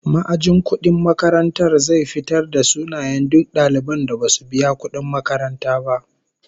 Ma'ajin kudin makarantar zai fitarvda sunayen duk daliban da basu biya kudin makaranta ba